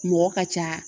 Mɔgɔ ka ca